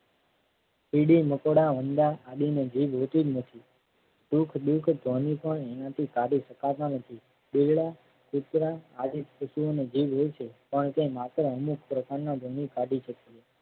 કીડી મકોડા વંદા આદિને જીભ હોતી જ નથી. સુખ દુઃખ શકાતા નથી. બિલાડા કુતરા આદિ કૃષિઓને જીવ લે છે. પણ તે માત્ર અમુક પ્રકારના કાઢી છે.